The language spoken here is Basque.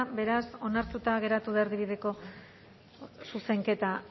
beraz onartuta geratu da erdibideko zuzenketa